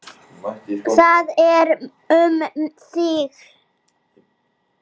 Það er um þig.